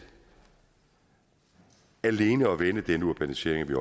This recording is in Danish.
alene at vende denne urbanisering